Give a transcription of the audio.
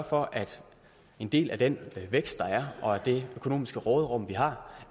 for at en del af den vækst der er og det økonomiske råderum vi har